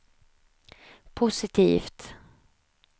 positivt